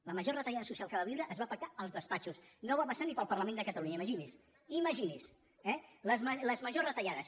les majors retallades socials que va viure es va pactar als despatxos no van passar ni pel parlament de catalunya imagini’s imagini’s eh les majors retallades